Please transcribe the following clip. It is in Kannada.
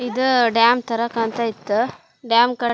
ಇದು ಡ್ಯಾಮ್ ತರ ಕಾಣ್ತ್ತಾಇತ್ತು ಡ್ಯಾಮ್ --